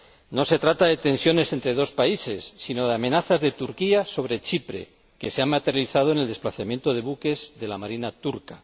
No se trata de tensiones entre dos países, sino de amenazas de Turquía a Chipre, que se han materializado en el desplazamiento de buques de la marina turca.